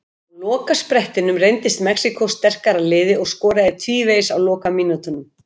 En á lokasprettinum reyndist Mexíkó sterkara liðið og skoraði tvívegis á lokamínútunum.